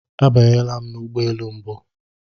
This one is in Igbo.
Abanyela m n'ụgbọelu mbu.